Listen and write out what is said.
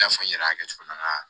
I n'a fɔ n yɛrɛ y'a kɛ cogo min na